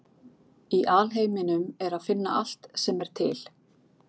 Í alheiminum er að finna allt sem er til.